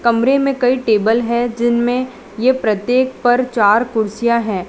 कमरे में कई टेबल है जिनमें ये प्रत्येक पर चार कुर्सियां है।